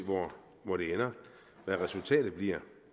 hvor det ender hvad resultatet bliver